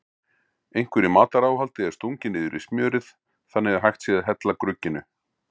Einhverju mataráhaldi er stungið niður í smjörið þannig að hægt sé að hella grugginu.